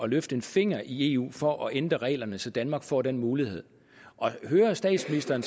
løfte en finger i eu for at ændre reglerne så danmark får den mulighed at høre statsministeren